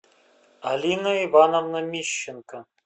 алина ивановна мищенко